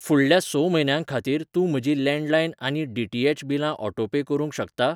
फुडल्या स म्हयन्यां खातीर तूं म्हजीं लॅंडलायन आनी डी.टी.एच बिलां ऑटोपे करूंक शकता?